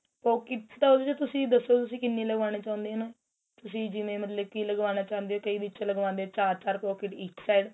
pockets ਤਾਂ ਤੁਸੀਂ ਦੱਸੋ ਤੁਸੀਂ ਕਿੰਨੀ ਲਵਾਣਾ ਚਾਉਂਦੇ ਓ ਨਾ ਤੁਸੀਂ ਜਿਵੇਂ ਮਤਲਬ ਕੀ ਲੱਗਵਾਣਾ ਚਾਉਂਦੇ ਓ ਨਾ ਕਈ ਵਿੱਚ ਲੱਗਵਾਂਦੇ ਏ ਚਾਰ ਚਾਰ pocket ਇੱਕ side